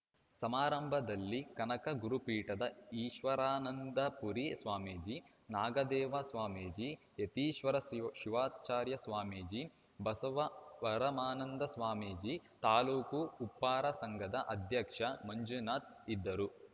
ಸಮಾರಂಭದಲ್ಲಿ ಕನಕ ಗುರುಪೀಠದ ಈಶ್ವರಾನಂದಪುರಿ ಸ್ವಾಮೀಜಿ ನಾಗಿದೇವ ಸ್ವಾಮೀಜಿ ಯತೀಶ್ವರ ಶಿವ್ ಶಿವಾಚಾರ್ಯ ಸ್ವಾಮೀಜಿಬಸವರಮಾನಂದ ಸ್ವಾಮೀಜಿ ತಾಲೂಕು ಉಪ್ಪಾರ ಸಂಘದ ಅಧ್ಯಕ್ಷ ಮಂಜುನಾಥ್‌ ಇದ್ದರು